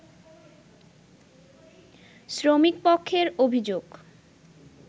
শ্রমিকপক্ষের অভিযোগ